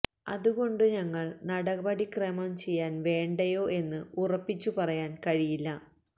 അതുകൊണ്ടു ഞങ്ങൾ നടപടിക്രമം ചെയ്യാൻ വേണ്ടയോ എന്ന് ഉറപ്പിച്ചു പറയാൻ കഴിയില്ല